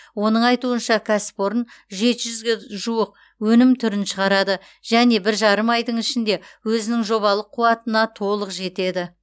оның айтуынша кәсіпорын жеті жүзге жуық өнім түрін шығарады және бір жарым айдың ішінде өзінің жобалық қуатына толық жетеді